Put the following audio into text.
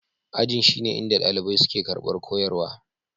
Ajin shine inda ɗalibai suke karɓar koyarwa.